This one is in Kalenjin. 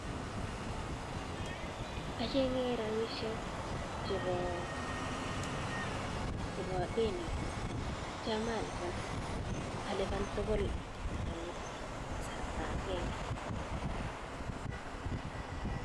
Ochenge rabishek chebo denit akitio anyaliban tukul en kasarta akenge.